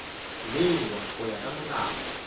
bewa go ya ka molao